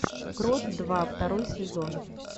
крот два второй сезон